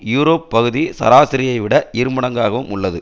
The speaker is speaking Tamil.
யூரோப் பகுதி சராசரியை விட இருமடங்காகவும் உள்ளது